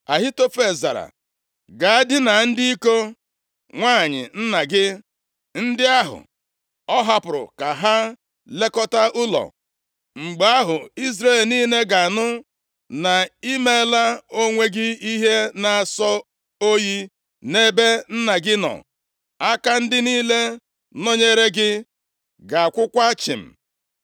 Ahitofel zara, “Ga dinaa ndị iko nwanyị nna gị ndị ahụ ọ hapụrụ ka ha lekọtaa ụlọ. Mgbe ahụ, Izrel niile ga-anụ na ị meela onwe gị ihe na-asọ oyi nʼebe nna gị nọ, aka ndị niile nọnyere gị ga-akwụkwa chịm.”